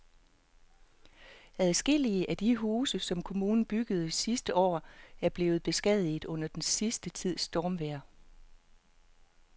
Adskillige af de huse, som kommunen byggede sidste år, er blevet beskadiget under den sidste tids stormvejr.